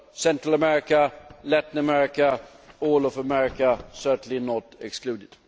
Central America, Latin America, all of America are certainly not excluded.